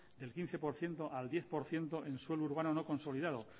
del quince por ciento al diez por ciento en suelo urbano consolidado